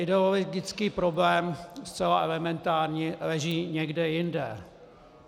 Ideologický problém zcela elementárně leží někde jinde.